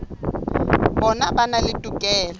bona ba na le tokelo